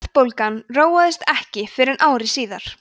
verðbólgan róaðist ekki fyrr en ári síðar